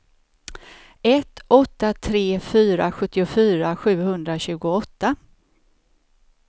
ett åtta tre fyra sjuttiofyra sjuhundratjugoåtta